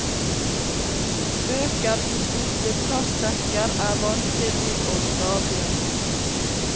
Bøker i sorte plastsekker er vanskelig å stable.